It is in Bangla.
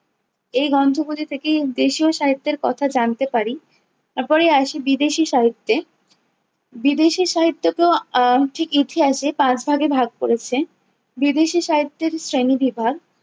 এই গন্থগুলি থেকেই দেশীয় সাহিত্যের কথা জানতে পারি। তারপরেই আসি বিদেশী সাহিত্যে, বিদেশী সাহিত্যকেও আহ ঠিক ইতিহাসে পাঁচ ভাগে ভাগ করেছে। বিদেশী সাহিত্যের শ্রেণীবিভাগ-